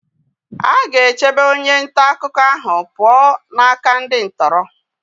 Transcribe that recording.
Aga-echebe onye nta akụkọ ahụ pụọ n'aka ndị ntọrọ?